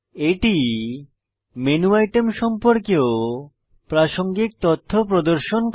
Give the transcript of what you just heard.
এটি menu item সম্পর্কেও প্রাসঙ্গিক তথ্য প্রদর্শন করে